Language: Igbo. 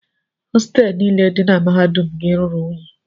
Hostelụ niile dị na mahadum gị ruru unyi.